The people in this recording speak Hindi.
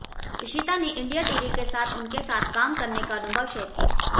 इशिता ने इंडिया टीवी के साथ उनके साथ काम करने का अनुभव शेयर किया